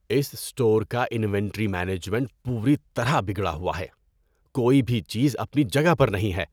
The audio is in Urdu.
اس اسٹور کا انوینٹری مینجمنٹ پوری طرح بگڑا ہوا ہے۔ کوئی بھی چیز اپنی جگہ پر نہیں ہے۔